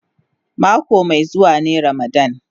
Mako mai zuwa ne ramadan.